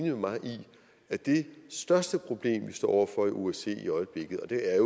med mig i at det største problem vi står over for i osce i øjeblikket og det er